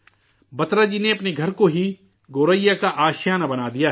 بترا جی نے اپنے گھر کو ہی گوریا کا آشیانہ بنا دیا ہے